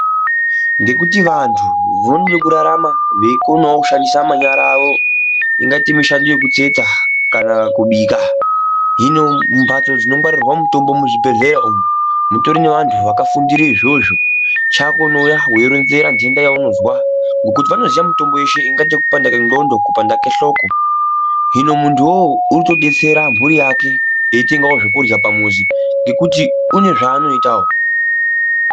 Ngekuti vantu vanode kurarama veikonawo kushandise manyara awo. Ingaite mishando yekutsetsa kana kubika. Hino mumbatso dzinongwarirwa mitombo muzvibhehleya umu, mutori nevanhu vakafundira izvozvo. Chako unoya weironzera ndenda yaunozwa ngokuti vanoziya mitombo yeshe. Ingaite kupanda kwendxondo, kupanda kwehloko. Hino muntuwo urikutodetsera mhuri yake eitengawo zvekurya pamuzi ngekuti une zvaanoitawo.